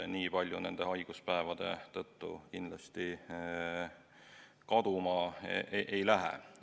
Nii palju nende haiguspäevade tõttu kindlasti kaduma ei lähe.